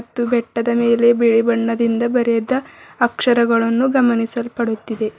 ಮತ್ತು ಬೆಟ್ಟದ ಮೇಲೆ ಬಿಳಿ ಬಣ್ಣದಿಂದ ಬರೆದ ಅಕ್ಷರಗಳನ್ನು ಗಮನಿಸಲ್ಪಡುತ್ತಿದೆ.